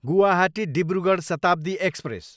Guwahati, Dibrugarh Shatabdi express